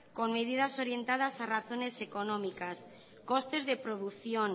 con medidas orientadas a razones económicas costes de producción